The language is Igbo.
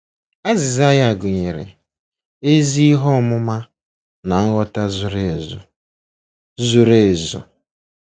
Azịza ya gụnyere “ezi ihe ọmụma na nghọta zuru ezu.” zuru ezu.”